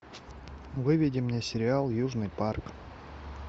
выведи мне сериал южный парк